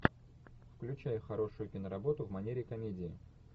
включай хорошую киноработу в манере комедии